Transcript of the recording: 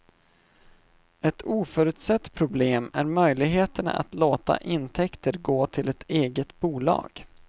Ett oförutsett problem är möjligheterna att låta intäkter gå till ett eget bolag.